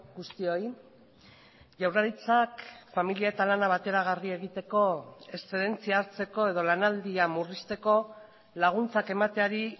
guztioi jaurlaritzak familia eta lana bateragarri egiteko eszedentzia hartzeko edo lanaldia murrizteko laguntzak emateari